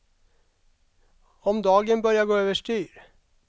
Om dagen börjar gå över styr.